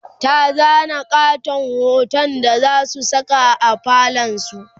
ta zana ƙaton hoton da zasu Saka a falon su